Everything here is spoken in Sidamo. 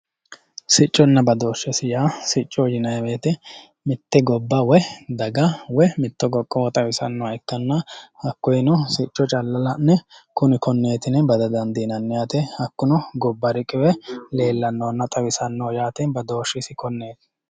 Sicconna badooshshesi yaa, siccoo yinayi woyiite mitte gobba daga woyi mitto qoqqowo xawisannoha ikkanna hakoyeeno sicco calla la'ne kuni konneeti yine bada dandiinanni yaate, hakkuno gobba riqiwe leellannonna xawisannoho yaate badooshshisi konneeti.